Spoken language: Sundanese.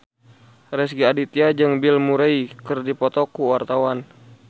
Rezky Aditya jeung Bill Murray keur dipoto ku wartawan